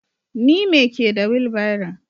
Ni me ke da wilbaron.